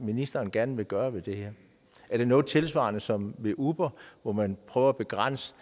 ministeren gerne vil gøre ved det her er det noget tilsvarende som med uber hvor man prøver at begrænse